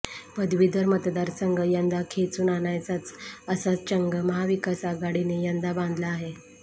पदवीधर मतदारसंघ यंदा खेचून आणायचाच असा चंग महाविकास आघाडीने यंदा बांधला आहे